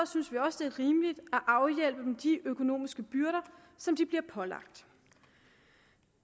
synes vi også det er rimeligt at afhjælpe de økonomiske byrder som de bliver pålagt